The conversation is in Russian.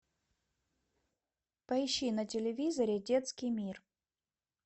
поищи на телевизоре детский мир